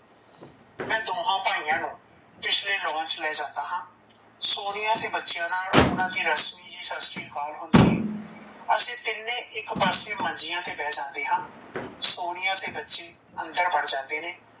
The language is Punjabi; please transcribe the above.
ਮੈ ਦੋਹਾਂ ਭਇਆ ਨੂੰ ਪਿਛਲੇ lawn ਚ ਲੇ ਜਾਂਦਾ ਹਾਂ, ਸੋਨੀਆ ਤੇ ਬਚਿਆ ਨਾਲ ਓਨਾ ਦੀ ਸਤ ਸ਼੍ਰੀ ਅਕਾਲ ਹੁੰਦੀ ਏ ਅਸੀਂ ਤੀਨੇ ਇੱਕ ਪਾਸੇ ਮੰਜੀਆ ਤੇ ਬੀਹ ਜਾਂਦੇ ਹਾਂ ਸੋਨੀਆ ਤੇ ਬੱਚੀ ਅੰਦਰ ਬੜ ਜਾਂਦੇ ਨੇ,